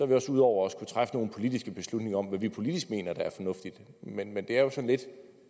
vi også ude over at skulle træffe nogle politiske beslutninger om hvad vi politisk mener er fornuftigt men det er jo sådan lidt